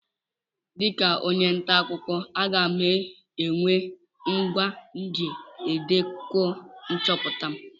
Dịka onye nta akụkọ, aga m enwe ngwa m ji edekọ nchọpụta m.